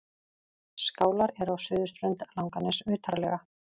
Skálar eru á suðurströnd Langaness utarlega.